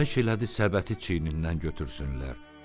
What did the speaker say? Xahiş elədi səbəti çiynindən götürsünlər.